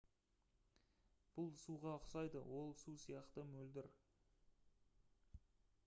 бұл суға ұқсайды ол су сияқты мөлдір